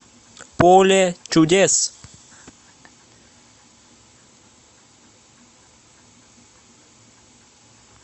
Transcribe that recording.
поле чудес